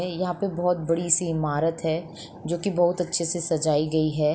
यहाँ पे बहोत बड़ी सी इमारत है जो की बहोत अच्छे से सजाई गई है।